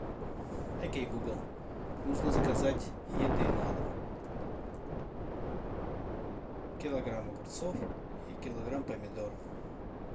окей гугл нужно заказать еды на дом килограмм огурцов и килограмм помидор